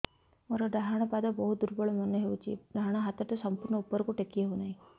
ମୋର ଡାହାଣ ପାଖ ବହୁତ ଦୁର୍ବଳ ମନେ ହେଉଛି ଡାହାଣ ହାତଟା ସମ୍ପୂର୍ଣ ଉପରକୁ ଟେକି ହେଉନାହିଁ